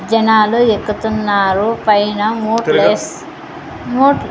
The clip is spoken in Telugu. జనాలు ఎక్కుతున్నారు పైన మూడు ఎస్ మూట్లు--